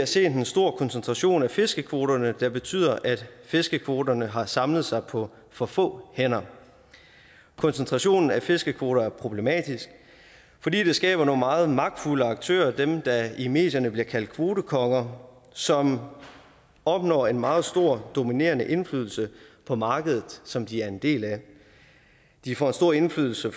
set en stor koncentration af fiskekvoterne der betyder at fiskekvoterne har samlet sig på for få hænder koncentrationen af fiskekvoter er problematisk fordi det skaber nogle meget magtfulde aktører dem der i medierne bliver kaldt kvotekonger som opnår en meget stor og dominerende indflydelse på markedet som de er en del af de får stor indflydelse